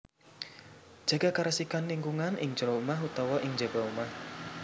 Jaga karesikan lingkungan ing jero omah utawa ing njaba omah